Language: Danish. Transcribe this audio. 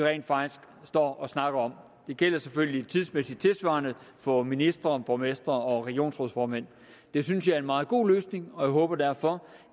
står og snakker om det gælder selvfølgelig tidsmæssigt tilsvarende for ministre borgmestre og regionsrådsformænd det synes jeg er en meget god løsning og jeg håber derfor